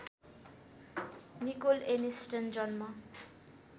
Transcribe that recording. Nicol Aniston जन्म